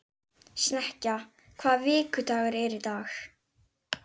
Snekkja, hvaða vikudagur er í dag?